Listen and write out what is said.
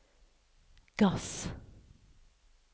gass